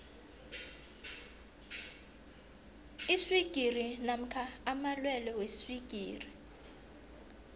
iswigiri namkha amalwelwe weswigiri